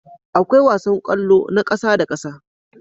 Akwai wasan kwallo na ƙasa da ƙasa